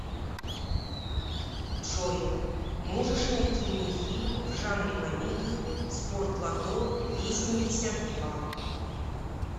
джой можешь найти мне фильм в жанре комедии спортлото весемьдесят два